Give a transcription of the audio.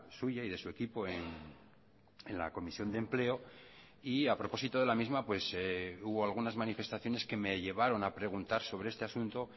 suya y de su equipo en la comisión de empleo y a propósito de la misma hubo algunas manifestaciones que me llevaron a preguntar sobre este asunto